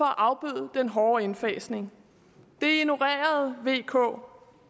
afbøde den hårde indfasning det ignorerede vk